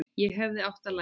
Ég hefði átt að læsa.